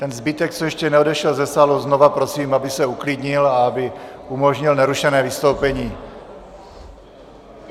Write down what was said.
Ten zbytek, co ještě neodešel ze sálu, znovu prosím, aby se uklidnil a aby umožnil nerušené vystoupení.